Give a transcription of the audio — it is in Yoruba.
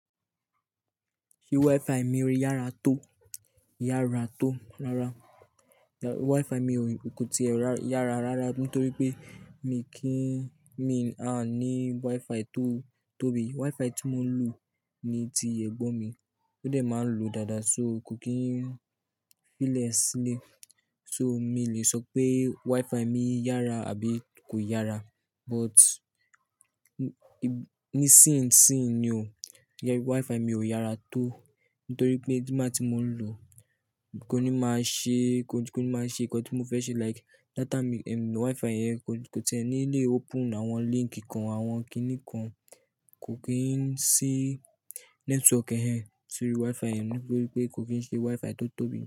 Ṣé Wi-Fi mi o yára tó? Yára tó rara. Wi-Fi mi ò, nǹkan ti ẹ́ yára rara nítorí pé mi kí ń, mi a ní Wi-Fi tó tóbi. Wi-Fi tí mo ń lò ni ti ẹ̀gbọ́n mi, ó dẹ̀ máa ń lò dáadáa so kò kí n fí lè sílẹ̀. So mi lè sọ pé Wi-Fi mi yára àbí kò yára, but ní sín sín ni o, jẹ́ pé Wi-Fi mi ò yára tó nítorí pé tí máa tí mo lò kò ní máa ṣe, kò ní máa ṣe nǹkan tí mo fẹ́ ṣe like data mi, Wi-Fi yẹn kò ti ẹ́ ní lè open àwọn link kan àwọn kiní kan, kò kí n sí network ẹhẹń sí orí Wi-Fi yẹn nítorí pé kò kí n ṣe Wi-Fi tó tóbi.